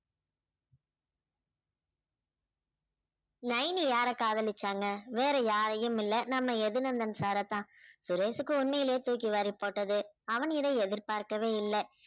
நைனி யார காதலிச்சாங்க வேற யாரையும் இல்ல நம்ம யது நந்தன் sir அ தான் சுரேஷுக்கு உண்மைலையே தூக்கி வாரி போட்டது அவன் இதை எதிர்பார்க்கவே இல்ல